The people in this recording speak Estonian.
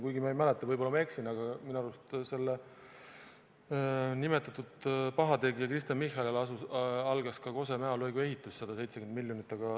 Kuigi – ma ei mäleta, võib-olla ma eksin, aga minu arust – selle nimetatud pahategija Kristen Michali ajal algas ka Kose–Mäo lõigu ehitus, 170 miljonit.